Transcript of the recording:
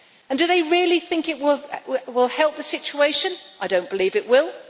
Do they really think it will help the situation? I do not believe it will.